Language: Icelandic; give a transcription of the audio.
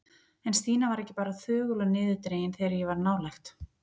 En Stína var ekki bara þögul og niðurdregin þegar ég var nálægt.